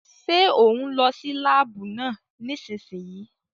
Ṣé òún lọ sí láàbù náà nísìsiyìí?